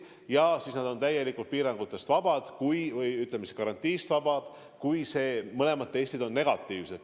Ja siis nad on täielikult piirangutest vabad, karantiinist vabad, kui mõlemad testid on negatiivsed.